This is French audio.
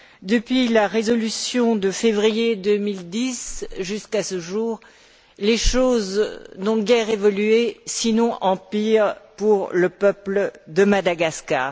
Depuis la résolution de février 2010 jusqu'à ce jour, les choses n'ont guère évolué, sinon en pire, pour le peuple de Madagascar.